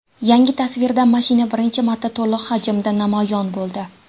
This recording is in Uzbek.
Yangi tasvirda mashina birinchi marta to‘liq hajmda namoyon bo‘ldi.